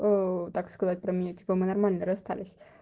ээ так сказать про меня типа мы нормально расстались